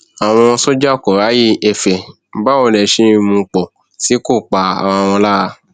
àwọn sójà kò ráyè ẹfẹ báwo lè ṣe ń mú un pọ tí kò pa ara wọn lára